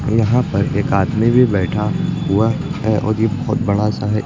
यहां पर एक आदमी भी बैठा हुआ है और ये बहुत बड़ा सा है।